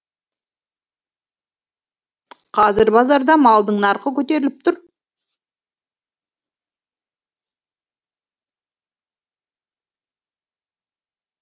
қазір базарда малдың нарқы көтеріліп тұр